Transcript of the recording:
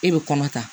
E bɛ kɔnɔ ta